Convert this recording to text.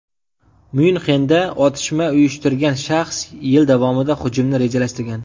Myunxenda otishma uyushtirgan shaxs yil davomida hujumni rejalashtirgan.